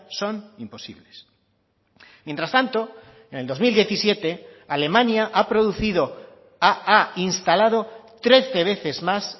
son imposibles mientras tanto en el dos mil diecisiete alemania ha producido ha instalado trece veces más